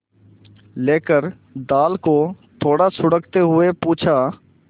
लेकर दाल को थोड़ा सुड़कते हुए पूछा